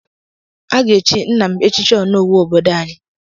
A ga-echi nna m echichi onowu obodo anyị.